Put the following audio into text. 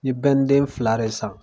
N ye den filare san.